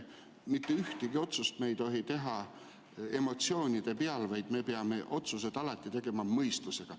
Mitte ühtegi otsust me ei tohi teha emotsioonide pealt, vaid me peame otsused alati tegema mõistusega.